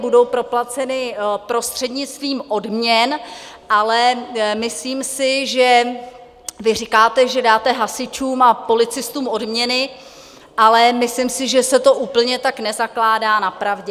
Budou proplaceny prostřednictvím odměn, ale myslím si, že vy říkáte, že dáte hasičům a policistům odměny, ale myslím si, že se to úplně tak nezakládá na pravdě.